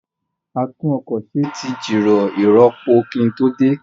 A tún ọkọ̀ ṣe tí jìrọ̀ ìrọpo kí n tó dé